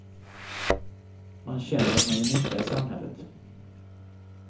Man känner att man gör nytta i samhället.